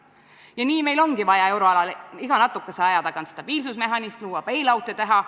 Ja nii meil ongi vaja euroalal iga natukese aja tagant stabiilsusmehhanisme luua, bail-out'e teha.